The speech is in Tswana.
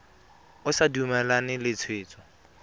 o sa dumalane le tshwetso